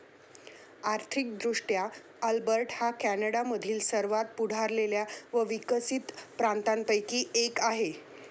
आर्थिक दृष्ट्या अल्बर्टा हा कॅनडामधील सर्वात पुढारलेल्या व विकसित प्रांतांपैकी एक आहे.